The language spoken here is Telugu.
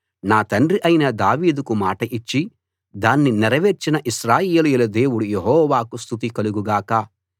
నా తండ్రి అయిన దావీదుకు మాట ఇచ్చి దాన్ని నెరవేర్చిన ఇశ్రాయేలీయుల దేవుడు యెహోవాకు స్తుతి కలుగు గాక